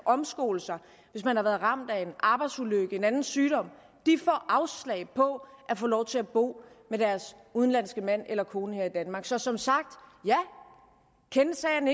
omskole sig hvis man har været ramt af en arbejdsulykke eller en anden sygdom får afslag på at få lov til at bo med deres udenlandske mand eller kone her i danmark så som sagt ja kennethsagen